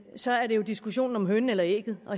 så er det jo diskussionen om hønen eller ægget og